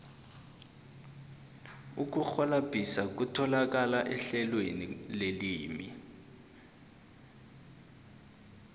ukurhwalabhisa kutholakala ehlelweni lelimi